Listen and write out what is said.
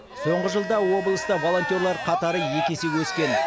соңғы жылда облыста волонтерлар қатары екі есе өскен